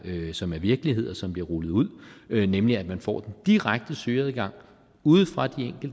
men som er virkelighed og som bliver rullet ud nemlig at man får den direkte søgeadgang ude fra